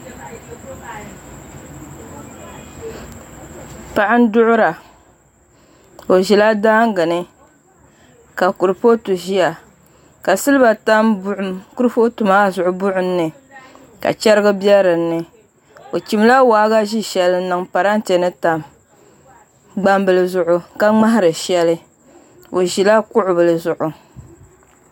Paɣa n duɣura o ʒila daangi ni ka kuripooti ʒiya ka silba tam kuripooti maa zuɣu buɣum ni ka chɛrigi bɛ dinni o chimla waagashɛ shɛli n niŋ parantɛ ni tam gbambili zuɣu ka ŋmahari shɛli o ʒila kuɣu bili zuɣu